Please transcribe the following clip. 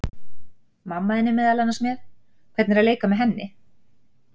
Mamma þín er meðal annars með, hvernig er að leika með henni?